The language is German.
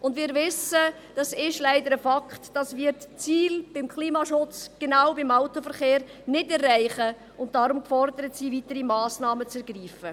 Und wir wissen – das ist leider ein Fakt –, dass wir das Ziel des Klimaschutzes genau beim Autoverkehr nicht erreichen und darum gefordert sind, weitere Massnahmen zu ergreifen.